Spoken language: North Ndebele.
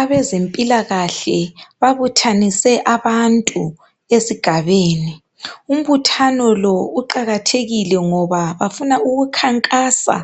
Abezempilakahle babuthanise abantu ezigabeni. Umbuthano lo uqakathekile ngoba bafuna ukukhankasa